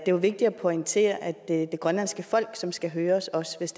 er vigtigt at pointere at det er det grønlandske folk som skal høres også hvis